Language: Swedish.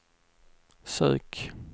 sök